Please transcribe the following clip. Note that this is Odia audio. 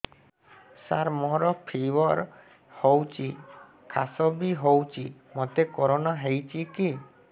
ସାର ମୋର ଫିବର ହଉଚି ଖାସ ବି ହଉଚି ମୋତେ କରୋନା ହେଇଚି କି